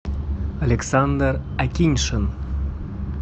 александр акиньшин